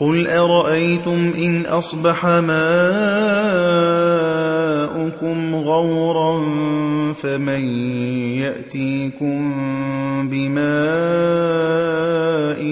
قُلْ أَرَأَيْتُمْ إِنْ أَصْبَحَ مَاؤُكُمْ غَوْرًا فَمَن يَأْتِيكُم بِمَاءٍ